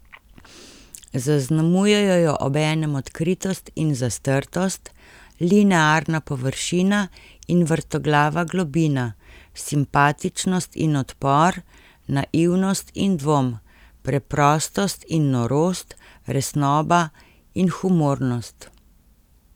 Zaznamujejo jo obenem odkritost in zastrtost, linearna površina in vrtoglava globina, simpatičnost in odpor, naivnost in dvom, preprostost in norost, resnoba in humornost.